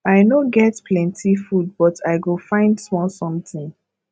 i no get plenty food but i go find small something